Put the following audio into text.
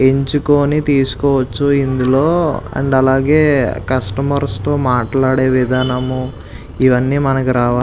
ఎంచుకుని తీసుకోవచ్చు ఇందులో అండ్ అలాగే కస్టమర్స్ తో మాట్లాడే విధానము ఇవన్నీ మనకి రావాలి.